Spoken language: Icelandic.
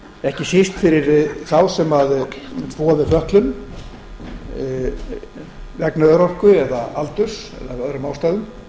ekki síst fyrir þá sem búa við fötlun vegna örorku aldurs eða af öðrum ástæðum